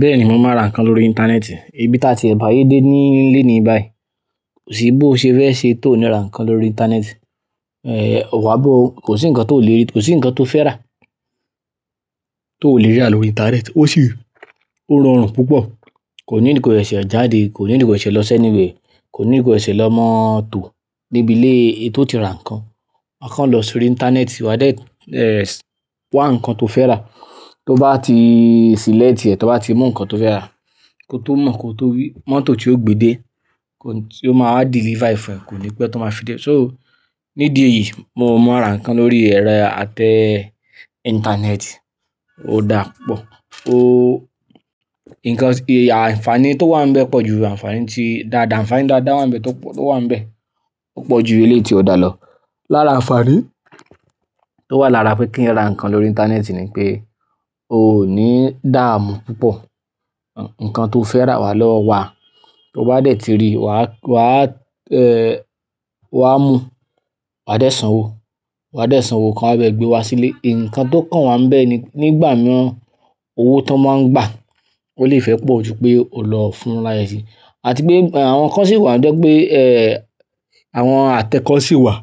Bẹ́ẹ̀ni, mò mọ ra nǹkan lórí ìntanẹ́ẹ̀tì. Ibi táa ti ẹ bà ayé dé ní léní báyìí, kò sí bo ṣe fẹ́ ṣe tó ní ra nǹkan lórí ìntanẹ́ẹ̀tì, ò àbò, kò sí nǹkan tó lè rí, kò sí nǹkan tó fẹ́ rà tó ò lè rà lórí ìntanẹ́ẹ̀tì. Ó sì rọrùn púpọ̀, kò ní need kó sẹsẹ̀ jáde, kò need kó sẹsẹ̀ lọ si anywhere, kò need ko sẹsẹ̀ lọ máa tó níbi ilé tó ti ra nǹkan. A kan lọ sórí ìntanẹ́ẹ̀tì, wàá dé, eh wá nǹkan tó fẹ́ rà. Tó bá ti ṣẹlẹ̀ct tì ẹ, tó bá ti mú nǹkan tó fẹ́ rà kó tó mọ̀ kó tó wí mọ́tò tí yóò gbé dé, ti ó máa deliver e, kò ní pé tó máa fi dé. So níbí eyìí mò maa n ra nǹkan lórí ẹ̀rọ atẹ ìntanẹ́ẹ̀tì, ó dáa púpọ̀. O, ǹkan, àǹfààní tó wà níbẹ̀ pọ̀ ju àǹfààní tí dáadáa, àǹfààní tó dáadáa wà níbẹ̀ tó pọ̀ tó wà níbẹ̀, ó pọ̀ ju ilé tí ó dá lọ. Lára àǹfààní tó wà lára pé kí n ra nǹkan lórí ìntanẹ́ẹ̀tì ni pé o ò ní dààmú púpọ̀. Nkán to fe ra wa lo wa to ba de ti ri wa mu wa de sanwó wa de ṣanwo kan wa ba e gbe wa sile. Ìǹkan tó kàn wá níbẹ̀ ni nígbà nàa owó tó máa ń gbà ó lè fẹ́ pọ̀ ju pé o lọ fún ráyé sí. Àti pé àwọn nǹkan sì wà lọ́jọ́ pé eh àwọn àtẹ kọ́ sì wà